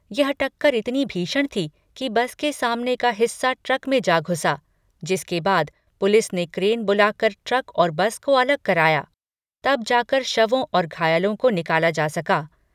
यह टक्कर इतनी भीषण थी कि बस के सामने का हिस्सा ट्रक में जा घुसा, जिसके बाद पुलिस ने क्रेन बुलाकर ट्रक और बस को अलग कराया, तब जाकर शवों और घायलों को निकाला जा सका।